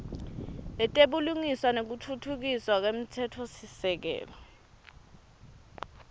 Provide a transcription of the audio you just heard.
letebulungiswa nekutfutfukiswa kwemtsetfosisekelo